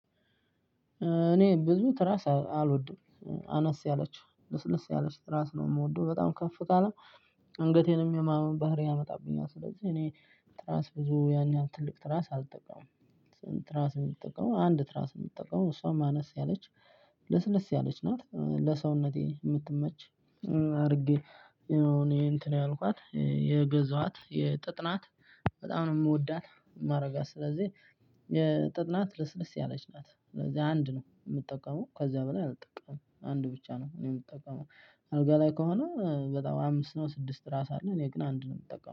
እኔ ብዙ ትራስ አልወድም አነስ ያለች ልስልስ ያለች ትራስ ነው የምወደው በጣም ከፍ ካለ አንገቴንም የማመን ባህሪ ያመጣብኛል። ስለዚህ እኔ ትራስ ብዙ ያን ያክል ትራስ አልጠቃምም ትራስ የምትጠቀመው አንድ ትራስ የምትጠቀመው እሷም አነስ ያለች ለስለስ ያለች ናት ለሰውነቴ የምትመች። አርጌ ያው እኔ እንትን ያልኳት የገዛኋት የጥጥ ናት በጣም ነው ምወዳት። ማረጋት ስለዚህ የጥጥ ናት ለስለስ ያለች ናት ስለዚህ አንድ ነው የምጠቀመው። ከዚያ በኋላ አልጠቀምም አንድ ብቻ ነው እኔ የምጠቀመው። አልጋ ላይ ከሆነ በጣም አምስት ነው ስድስት ትራስ አለ እኔ ግን አንድ ነው የምጠቀመው